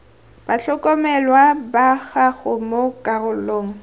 batlhokomelwa ba gago mo karolong